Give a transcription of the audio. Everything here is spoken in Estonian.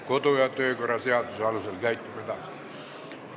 Kodu- ja töökorra seaduse alusel käitume edasi.